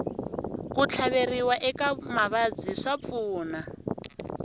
ku tlhaveriwa eka mavabyi swa pfuna